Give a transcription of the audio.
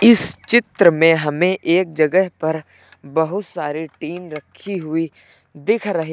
इस चित्र में हमें एक जगह पर बहुत सारे टिन रखी हुई दिख रही--